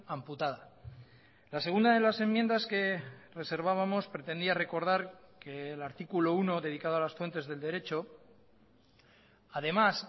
amputada la segunda de las enmiendas que reservábamos pretendía recordar que el artículo uno dedicado a las fuentes del derecho además